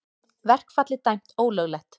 Verkfallið dæmt ólöglegt